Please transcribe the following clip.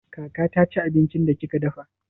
Kaka ta ci abincin da kika dafa?